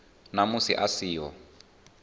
na musi a si ho